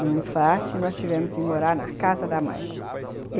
No infarto, nós tivemos que morar na casa da mãe.